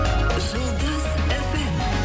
жұлдыз фм